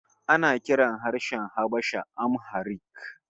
Ana kiran harshen Habasha Amharic